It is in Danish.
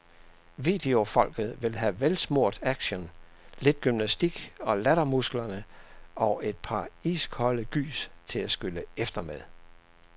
Videofolket vil have velsmurt action, lidt gymnastik til lattermusklerne og et par iskolde gys til at skylle efter med.